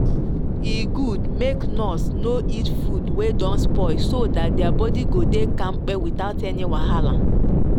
e good make nurse no eat food wey don spoil so that their body go dey kampe without any wahala.